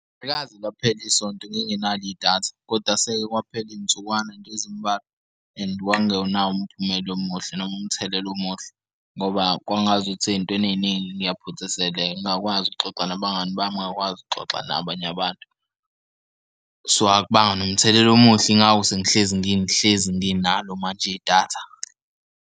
Akaze laphela isonto ngingenalo idatha koda seke kwaphela iy'nsukwana nje ezimbalwa, and kwakungenawo umphumela omuhle noma umthelela omuhle ngoba kwangazukuthi ey'ntweni ey'ningi ngiyaphuthiseleka. Ngingakwazi ukuxoxa nabangani bami ngingakwazi ukuxoxa nabanye abantu, so akubanga nomthelela omuhle ingako sengihlezi ngihlezi nginalo manje idatha.